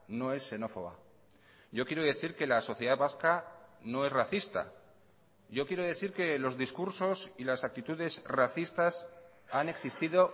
no es xenófoba yo quiero decir que la sociedad vasca no es racista yo quiero decir que los discursos y las actitudes racistas han existido